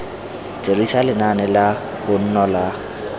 dirisa lenaane la bonno la